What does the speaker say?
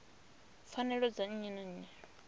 pfanelo dza nnyi na nnyi